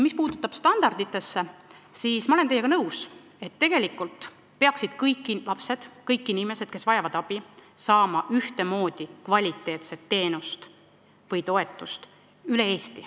Mis puudutab standardeid, siis ma olen teiega nõus, et tegelikult peaksid kõik lapsed, kõik inimesed üle Eesti, kes vajavad abi, saama ühtemoodi kvaliteetset teenust või toetust.